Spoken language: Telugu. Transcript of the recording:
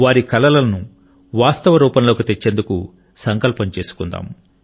వారి కలలను వాస్తవరూపంలోకి తెచ్చేందుకు సంకల్పం చేసుకుందాం